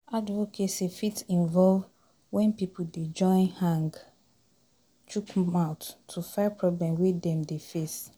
Advocacy fit involve when pipo dey join hang chook mouth to fight problem wey dem dey face